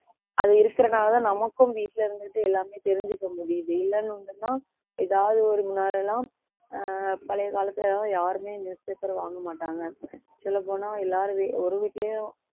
அது இருக்கிறனாலதான் நமக்கும் வீட்டுல இருந்துட்டு எல்லாமே தெரிஞ்சுக்க முடியுது ஏதாவது ஒரு முன்னால எல்லாம் அ பழைய காலத்துல எல்லாம் யாருமே newspaper வாங்க மாட்டாங்க சொல்லப் போனா எல்லாரும் வீ~ ஒரு வீட்டிலேயும்